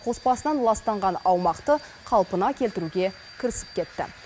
қоспасынан ластанған аумақты қалпына келтіруге кірісіп кетті